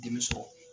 Denmuso